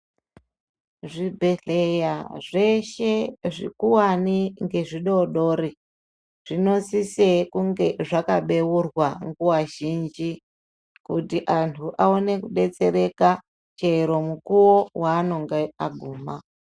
Zvibhedhleya zveshe zvikuwani ngezvidodori, zvinosisa kunga zvakabeurwa nguwa zhinji, kuti antu aone kudetsereka chero mukuwo weanenge aguma.